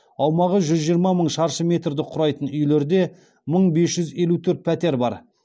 аумағы жүз жиырма мың шаршы метрді құрайтын үйлерде мың бес жүз елу төрт пәтер бар